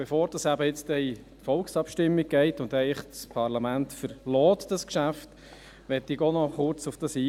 Bevor das Geschäft nun eben in die Volksabstimmung geht und das Parlament eigentlich verlässt, möchte ich auch kurz darauf eingehen.